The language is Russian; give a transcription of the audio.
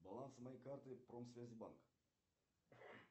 баланс моей карты промсвязь банк